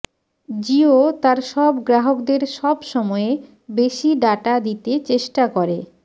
জিও তার গ্রাহকদের সব সময়ে বেশি ডাটা দিতে চেষ্টা করে